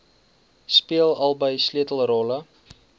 speel albei sleutelrolle